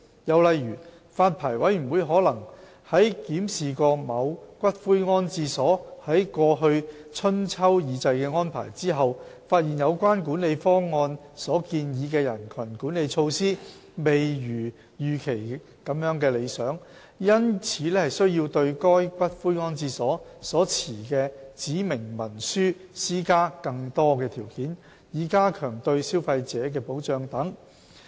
又例如，發牌委員會可能在檢視某骨灰安置所在過去春秋二祭的安排後，發現有關管理方案所建議的人群管理措施未如預期般理想，因此需要對該骨灰安置所所持的指明文書施加更多條件，以加強對消費者的保障等。